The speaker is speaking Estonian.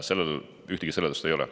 Sellele ühtegi seletust ei ole.